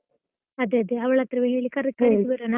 ಅದೆ ಅದೇ, ಅವಳತ್ರವೆ ಹೇಳಿ ಕರ್ಕೊಂಡು ಬರುವ.